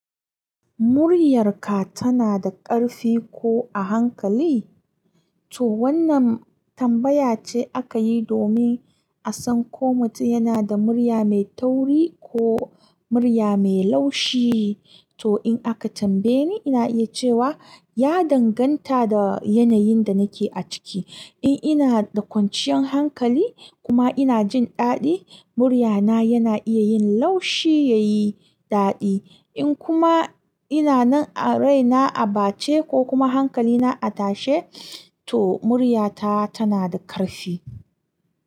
Muryarka tana da ƙarfi ko a hankali? To wannan tambaya ce aka yi domin a san ko mutum yana da murya mai tauri ko murya mai laushi. To in aka tambaye ni, ina iya cewa ya danganta da yanayin da nake ciki. In ina da kwanciyar hankali kuma ina jin daɗi, muryana yana iya yin laushi ya yi daɗi. In kuma ina nan a raina a bace ko kuma hankalina a tashe, to muryata tana da ƙarfi.